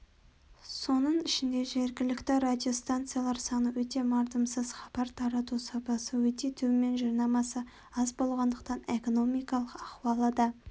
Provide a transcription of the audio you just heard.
соның ішінде жергілікті радиостанциялар саны өте мардымсыз хабар тарату сапасы өте төмен жарнамасы аз болғандықтан экономикалық ахуалы да